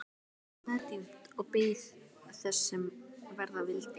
Hann andaði djúpt og beið þess sem verða vildi.